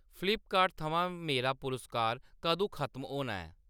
Flipkart थमां मेरा पुरस्कार कदूं खतम होना ऐ?